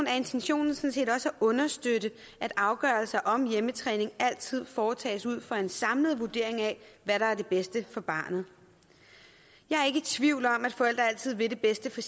er intentionen sådan set også at understøtte at afgørelser om hjemmetræning altid foretages ud fra en samlet vurdering af hvad der er det bedste for barnet jeg er ikke i tvivl om at forældre altid vil det bedste for